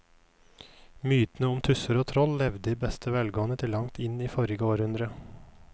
Mytene om tusser og troll levde i beste velgående til langt inn i forrige århundre.